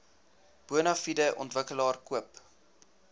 bonafide ontwikkelaar koop